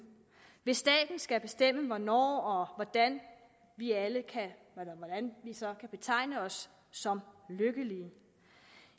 hvis staten skal bestemme hvornår og hvordan vi alle så kan betegne os som lykkelige